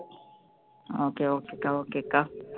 okay okay அக்கா okay அக்கா ஹம் அப்புறம்